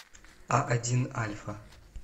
а один альфа